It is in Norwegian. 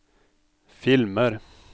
filmer